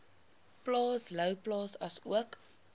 plaas louwplaas asook